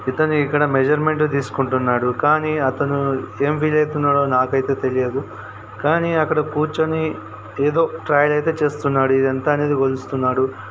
ఇక్కడనే ఇక్కడ మెజర్మెంట్ తీసుకుంటున్నాడు కానీ అతను ఏం ఫీల్ అవుతున్నాడో నాకైతే తెలియదు కానీ అక్కడ కూర్చుని ఏదో ట్రైల్ అయితే చేస్తున్నాడు ఇది ఎంత అనేది కొలుస్తున్నాడు.